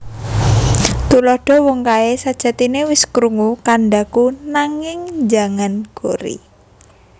Tuladha Wong kae sajatine wis krungu kandhaku nanging njangan gori